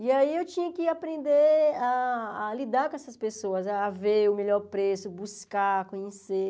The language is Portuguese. E aí eu tinha que aprender a a lidar com essas pessoas, a ver o melhor preço, buscar, conhecer.